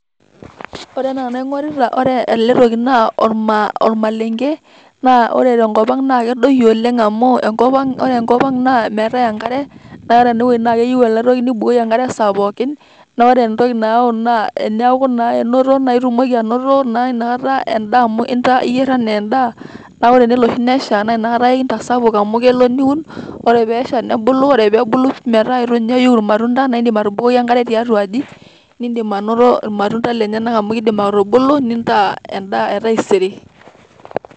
Ore enaa enaingorita naa ore ele toki naa orma ormalenke . naa ore tenkop ang naa kedoyio oleng amu ore enkop ang naa kedoyio oleng amu enkopang ,amu ore enkopang naa meetae enkare naa ore ena toki naa keyieu ena toki nibukoki enkare esaa pookin naa ore entoki nayau naa eniaku naa enoto naa etumoki anoto naa inakata endaa amu etaa iyier anaa endaa . naa tenelo oshi nesha naa inakata ake kintasapuk amu kelo niun ,ore pesha nebulu, ore pebulu metaa eitu ninye eiu irmatunda naa indim atubukoki enkare tiatua aji ,nindim anoto irmatunda lenyenak amu kindim atubulu nintaa endaa etaisere.